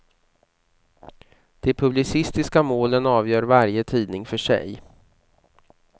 De publicistiska målen avgör varje tidning för sig.